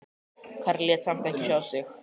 Karlinn lét samt ekki sjá sig.